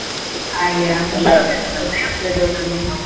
ಹಾಗೆಯಾ .